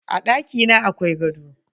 A ɗakina akwai gado.